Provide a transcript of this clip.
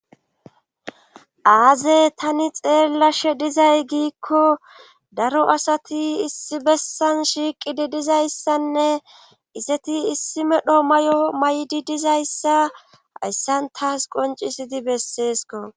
aaze tani xeellashe dizay giikko daro asati issi bessan shiiqidi dizayssanne iseti issi medho may7o may7di dizayssa hayssan taas qoncisidi besseesko